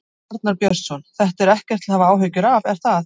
Arnar Björnsson: Þetta er ekkert til að hafa áhyggjur af, er það?